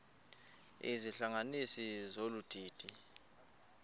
izihlanganisi zolu didi